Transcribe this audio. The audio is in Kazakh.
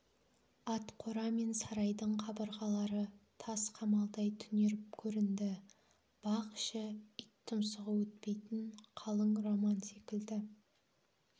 атқора мен сарайдың қабырғалары тас қамалдай түнеріп көрінді бақ іші ит тұмсығы өтпейтін қалың роман секілді